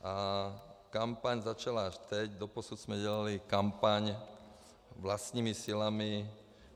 A kampaň začala až teď, doposud jsme dělali kampaň vlastními silami.